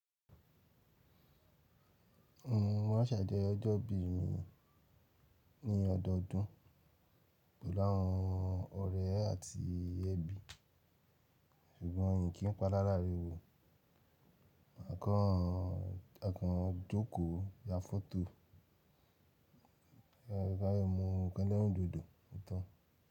Mo maa n ṣàjọyọ̀ ọjọ́ ìbí mi ní ọdọodún pẹ̀lú àwọn ọ̀rẹ́ àti ẹbí, ṣùgbọ́n mi kì í pa lalaárawò. A kan a kan jókòó, ya fọ́tò ka dẹ mu nkan elerindodo otan.